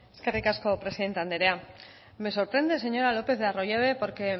eskerrik asko presidente anderea me sorprende señora lopez de arroyabe porque